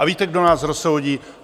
A víte, kdo nás rozsoudí?